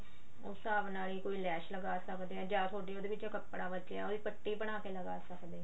ਉਸ ਹਿਸਾਬ ਨਾਲ ਹੀ ਕੋਈ ਲੈਸ ਲਗਾ ਸਕਦੇ ਆ ਜਾਂ ਥੋਡੀ ਉਹਦੇ ਵਿੱਚੋਂ ਕੱਪੜਾ ਬਚਿਆ ਉਹਦੀ ਪੱਟੀ ਬਣਾ ਕੇ ਲਗਾ ਸਕਦੇ ਹਾਂ